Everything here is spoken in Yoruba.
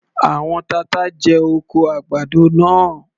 Àwọn tata jẹ oko àgbàdo náà.